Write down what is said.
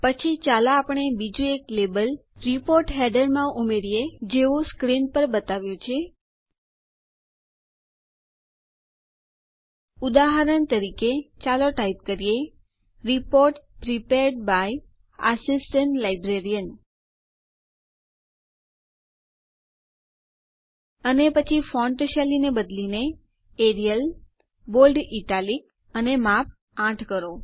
પછી ચાલો આપણે બીજું એક લેબલ રીપોર્ટ ફૂટરમાં ઉમેરીએ જેવું સ્ક્રીન પર બતાવ્યું છે ઉદાહરણ તરીકે ચાલો ટાઈપ કરીએ report prepared by assistant librarian અને પછી ફોન્ટ શૈલીને બદલીને એરિયલ બોલ્ડ ઇટાલિક અને માપ ૮ કરો